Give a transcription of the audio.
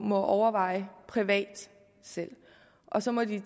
må overveje privat og så må de